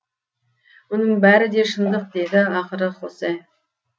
мұның бәрі де шындық деді ақыры хосе